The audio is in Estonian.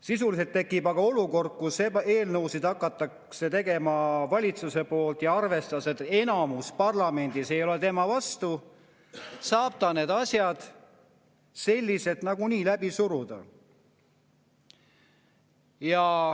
Sisuliselt tekib aga olukord, kus eelnõusid hakatakse valitsuses tegema arvestusega, et kui enamus parlamendis ei ole vastu, siis saab ta need asjad nagunii läbi suruda.